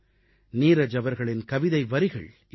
நீரஜ் அவர்களின் கவிதை வரிகள் இதோ